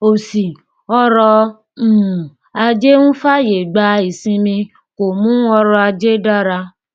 òṣì ọrọ um ajé ń fàyè gba ìsinmi kò mú ọrọ ajé dára